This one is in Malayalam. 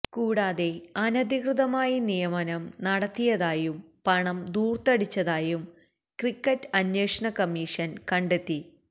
കൂടാതെ അനധികൃത നിയമനം നടത്തിയതായും പണം ധൂര്ത്തടിച്ചതായും ക്രിക്കറ്റ് അന്വേഷണക്കമ്മീഷന് കണ്ടെത്തി